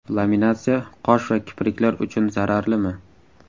Laminatsiya qosh va kipriklar uchun zararlimi?